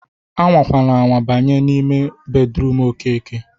A nwana anwa banye n'ime bedruum Okeke!